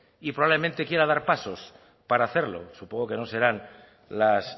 y probablemente quiera dar pasos para hacerlo supongo que no serán las